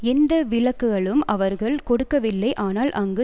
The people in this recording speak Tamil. எந்த விளக்குகளும் அவர்கள் கொடுக்கவில்லை ஆனால் அங்கு